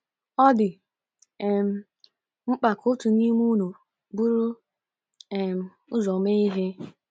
Ọ dị um mkpa ka otu n’ime unu buru um ụzọ mee ihe.